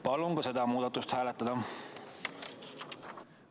Palun ka seda muudatusettepanekut hääletada!